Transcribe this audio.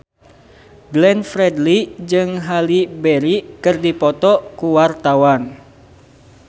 Glenn Fredly jeung Halle Berry keur dipoto ku wartawan